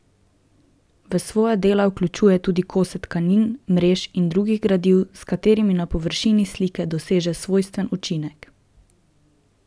V svoja dela vključuje tudi kose tkanin, mrež in drugih gradiv, s katerimi na površini slike doseže svojstven učinek.